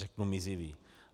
Řeknu mizivý.